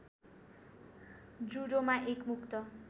जुडोमा एक मुक्त